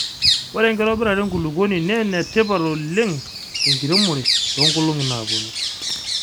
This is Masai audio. ore enkitobirata enkulukoni naa enetipat oleng tenkiremore too nkolong'I naaponu